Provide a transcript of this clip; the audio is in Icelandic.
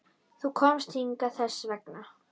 Þú komst hingað þess vegna.